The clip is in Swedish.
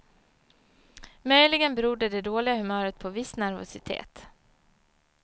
Möjligen berodde det dåliga humöret på viss nervositet.